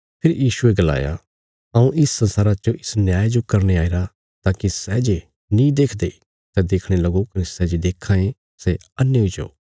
फेरी यीशुये गलाया हऊँ इस संसारा च इस न्याय जो करने आईरा ताकि सै जे नीं देखदे सै देखणे लगो कने सै जे देक्खां ये सै अन्हे हुई जाओ